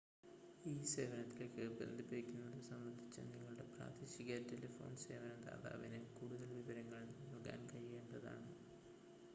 ഈ സേവനത്തിലേക്ക് ബന്ധിപ്പിക്കുന്നത് സംബന്ധിച്ച് നിങ്ങളുടെ പ്രാദേശിക ടെലിഫോൺ സേവന ദാതാവിന് കൂടുതൽ വിവരങ്ങൾ നൽകാൻ കഴിയേണ്ടതാണ്